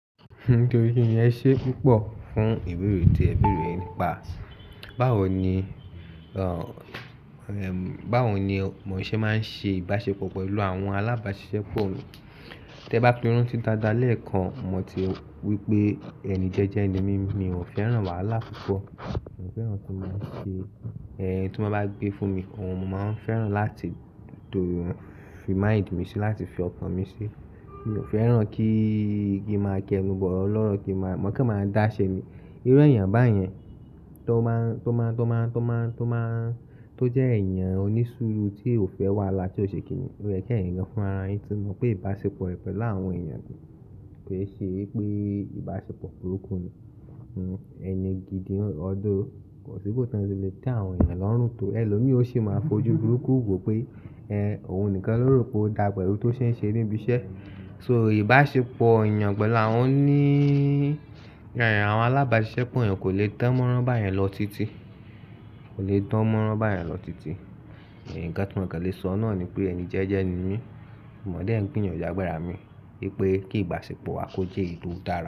Nítorí pé ìyẹn ṣẹ́ púpọ̀ fún ìbẹ̀rù tí ẹbí rẹ̀ nípa báwo ni, ẹ́, báwo ni mọ ṣẹ́ máa ń ṣe ìbáṣepọ̀ pẹ̀lú àwọn alábàáṣiṣẹ́ pọ́ Tẹ bá firan tí dáadáa lẹ́ẹ̀kan, mo ti wí pé ẹni jẹ́jẹ́ ni mi, mi ò fẹ́ràn wàhálà púpọ̀. Mi ò fẹ́ràn kí wọ́n máa ṣe ẹ̀yin tí wọ́n bá gbé fún mi kan, mo máa ń fẹ́ràn láti dòdò rí, fi mind mi síi, láti fi ọkàn mi síi. Mi ò fẹ́ràn kíí, kíi máa kẹnu bọ̀ ọlọ́rọ̀, kí máa, mọ̀ pé máa dáṣẹ ni. Irú èèyàn báyẹn tó máa ń, tó máa ń, tó máa ń, tó máa ń, tó máa ń, tó jẹ́ èèyàn onísùúrù tí ò fẹ́ wàhálà tí ò ṣe kìní, ó yẹ kí ẹ̀yin gan fúnra, ẹ ti mọ̀ pé ìbáṣepọ̀ ìfẹ́ láàárín àwọn èèyàn kò ṣe pé ìbáṣepọ̀ burúkú ni. Ẹni gidi ọ̀dọ̀ kò sí bóótọ́ tí lè tẹ àwọn èèyàn lọ́rùn tó. Ẹlòmíì ó sì máa fojú burúkú wò pé, ẹ́, òun nìkan ló rò pé ó dá pẹ̀lú tó ṣe ń ṣe níbi iṣẹ́. So ìbáṣepọ̀ èèyàn pẹ̀lú àwọn ní, ẹ́, àwọn alábàáṣiṣẹ́ pọ́n, ẹ kò lè tẹ́ mọ́ránbáyẹn lọ títí, kò lè dán mọ́ránbáyẹn lọ títí. Ẹ̀n kan tí wọ́n kàn le sọ náà ni pé ẹni jẹ́jẹ́ ẹni mi, mo mọ̀ dé ẹ̀yin gbìyànjú àgbàrá mi pé kí ìbáṣepọ̀ wa kó jẹ́ èyí tó dára.